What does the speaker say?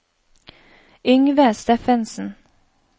Yngve Steffensen